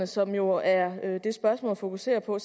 som jo er det spørgsmålet fokuserer på